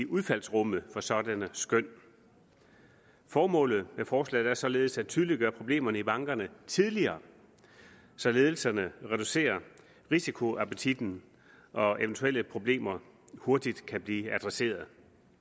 udfaldsrummet for sådanne skøn formålet med forslaget er således at tydeliggøre problemerne i bankerne tidligere så ledelserne reducere risikoappetitten og eventuelle problemer hurtigt kan blive adresseret